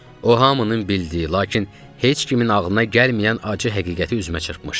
O, hamının bildiyi, lakin heç kimin ağlına gəlməyən acı həqiqəti üzümə çırpmışdı.